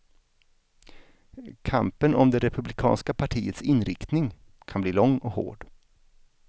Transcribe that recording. Kampen om det republikanska partiets inriktning kan bli lång och hård.